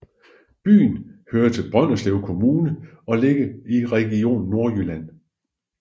Byen hører til Brønderslev Kommune og ligger i Region Nordjylland